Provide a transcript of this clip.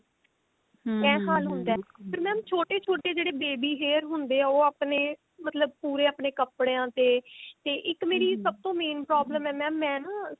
ਇਹ ਹਾਲ ਹੁੰਦਾ ਤੇ mam ਛੋਟੇ ਛੋਟੇ ਜਿਹੜੇ baby hair ਹੁੰਦੇ ਨੇ ਉਹ ਆਪਣੇ ਮਤਲਬ ਪੂਰੇ ਆਪਣੇ ਕੱਪੜੀਆਂ ਤੇ ਤੇ ਇੱਕ ਮੇਰੀ ਸਭ ਤੋਂ main problem ਹੈ mam ਮੈਂ ਨਾ